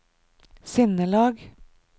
sinnelag